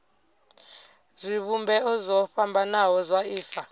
zwivhumbeo zwo fhambanaho zwa ifa